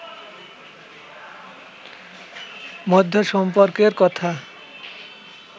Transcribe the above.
মধ্যে সম্পর্কের কথা